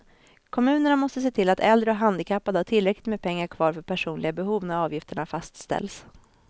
Kommunerna måste se till att äldre och handikappade har tillräckligt med pengar kvar för personliga behov när avgifterna fastställs.